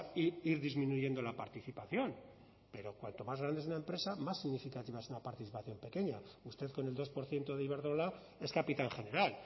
e ir disminuyendo la participación pero cuanto más grande es una empresa más significativa es una participación pequeña y usted con el dos por ciento de iberdrola es capitán general